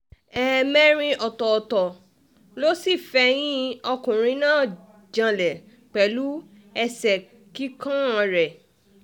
um ẹ̀ẹ̀mẹrin ọ̀tọ̀ọ̀tọ̀ ló sì fẹ̀yìn ọkùnrin náà janlẹ̀ pẹ̀lú um ẹ̀ṣẹ́ kíkàn rẹ̀